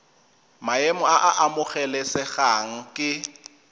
maemo a a amogelesegang ke